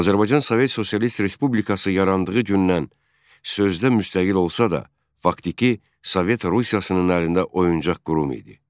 Azərbaycan Sovet Sosialist Respublikası yarandığı gündən sözdə müstəqil olsa da, faktiki Sovet Rusiyasının əlində oyuncaq qurum idi.